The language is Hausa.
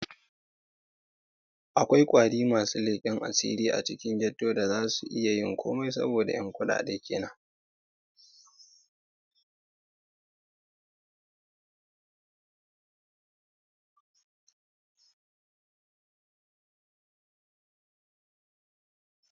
Akwai masu leken asiri a cikin ghetto da za su iyayin komai saboda 'yan kudade kadan.